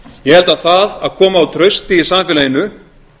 ég held að það að koma á trausti í samfélaginu